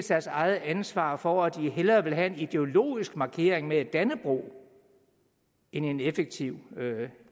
deres eget ansvar for at de hellere vil have en ideologisk markering med dannebrog end en effektiv